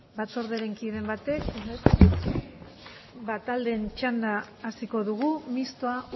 batzordearen kideren batek taldeen txanda hasiko dugu mistoa